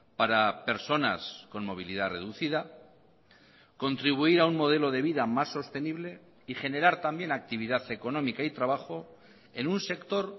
para personas con movilidad reducida contribuir a un modelo de vida más sostenible y generar también actividad económica y trabajo en un sector